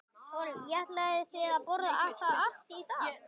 Þórhildur: Og ætlið þið að borða það allt í dag?